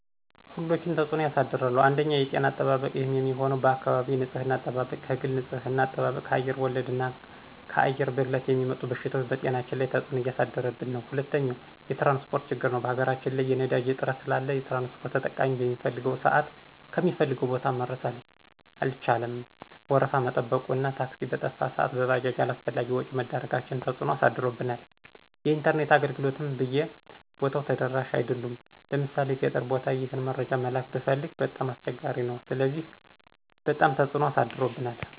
ሁሎችም ተፅኖ ያሳድራሉ አንደኛ የጤና አጠባበቅ ይህም የሚሆነው በአካባቢ ንፅህና አጠባበቅ፣ ከግል ንፅህና አጠባብቅ፣ ከአየር ወለድ እና ከአየር ብክለት የሚመጡ በሽታዎች በጤናችን ላይ ተፅኖ እያሳደረብን ነው። ሁለተኛው የትራንስፖርት ችግር ነው በሀገራችን ላይ የነዳጅ እጥረት ስላለ ትራንስፖርት ተጠቃሚ በሚፈልገው ስአት ከሚፈልገው ቦታ መድረስ አልቻለም ወረፋ መጠበቁ እና ታክሲ በጠፋ ስአት በባጃጅ አላስፈላጊ ወጭ መዳረጋችን ተፅኖ አሳድሮብናል። የኢንተርኔት አገልግሎትም ብይ ቦታው ተደራሽ አይደሉም ለምሣሌ ገጠር ቦታ ይህን መረጃ መላክ ብትፈልግ በጣም አስቸጋሪ ነው ስለዚህ በጣም ትፅኖ አሳድሮብናል።